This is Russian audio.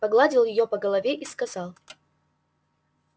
погладил её по голове и сказал